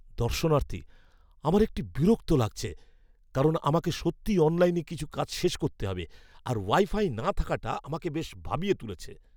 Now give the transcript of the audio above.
দর্শনার্থী, "আমার একটু বিরক্ত লাগছে কারণ আমাকে সত্যিই অনলাইনে কিছু কাজ শেষ করতে হবে, আর ওয়াইফাই না থাকাটা আমাকে বেশ ভাবিয়ে তুলেছে।"